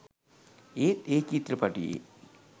ඒත් ඒ චිත්‍රපටියේ